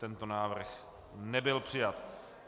Tento návrh nebyl přijat.